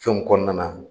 Fɛnw kɔnɔna na